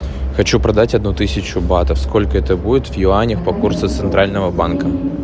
хочу продать одну тысячу батов сколько это будет в юанях по курсу центрального банка